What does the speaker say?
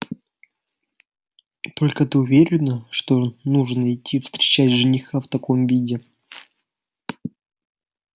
только ты уверена что нужно идти встречать жениха в таком виде